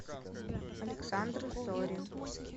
александр зорин